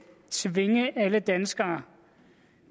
tvinge alle danskere